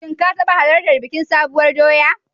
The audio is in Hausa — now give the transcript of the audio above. Shin ka taɓa halartar bikin Sabuwar doya?